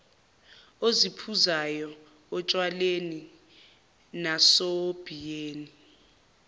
osiphuzayo otshwaleni nasobhiyeni